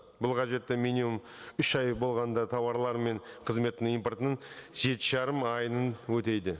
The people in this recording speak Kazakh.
бұл қажеттен минимум үш ай болғанда тауарлар мен қызметтің импортын жеті жарым айын өтейді